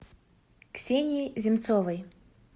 ксении земцовой